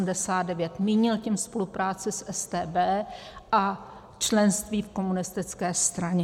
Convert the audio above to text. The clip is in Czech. Mínil tím spolupráci s StB a členství v komunistické straně.